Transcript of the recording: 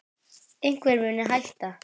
Einhver muni hætta.